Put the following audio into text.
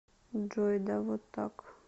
джой да вот так